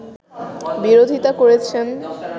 বিরোধিতা করেছেন